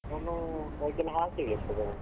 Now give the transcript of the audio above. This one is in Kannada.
ನಾನು ಅದ್ಕೆಲ್ಲ ಹಾಕಿಲ್ಲ ಇಸ್ಟೊ ತನಕ.